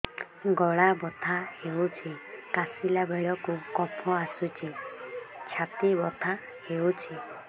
ଗଳା ବଥା ହେଊଛି କାଶିଲା ବେଳକୁ କଫ ଆସୁଛି ଛାତି ବଥା ହେଉଛି